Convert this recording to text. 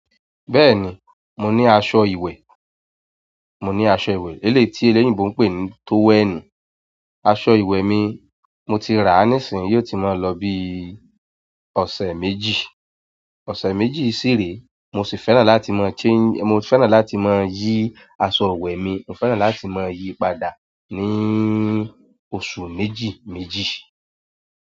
Bẹ́ẹ̀ni, mo ní aṣọ ìwẹ̀, mo ní aṣọ ìwẹ̀ eléyìí tí eléyìí gbogbo ń pè ní tówẹ́ẹ̀nù. Aṣọ ìwẹ̀ mi mo ti rà á níìsín, yóò ti máa lọ bí ọ̀sẹ̀ méjì, ọ̀sẹ̀ méjì sí ìrèé mo sì fẹ́ràn láti máa change-- mo fẹ́ràn láti máa yí aṣọ ìwẹ̀ mi, mo fẹ́ràn láti máa yí padà ní oṣù méjì méjì.